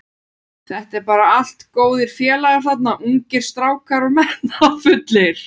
Þetta eru bara allt góðir félagar þarna, ungir strákar og metnaðarfullir.